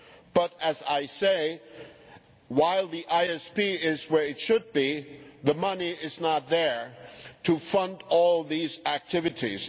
But, as I said, while the ISP is where it should be, the money is not there to fund all these activities.